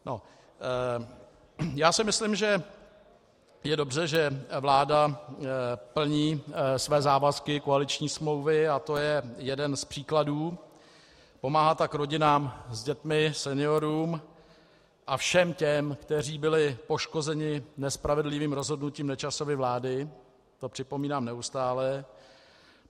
Já si myslím, že je dobře, že vláda plní své závazky koaliční smlouvy, a to je jeden z příkladů, pomáhá tak rodinám s dětmi, seniorům a všem těm, kteří byli poškozeni nespravedlivým rozhodnutím Nečasovy vlády, to připomínám neustále.